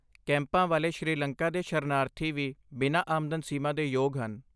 ਕੈਂਪਾਂ ਵਾਲੇ ਸ਼੍ਰੀਲੰਕਾ ਦੇ ਸ਼ਰਨਾਰਥੀ ਵੀ ਬਿਨਾਂ ਆਮਦਨ ਸੀਮਾ ਦੇ ਯੋਗ ਹਨ।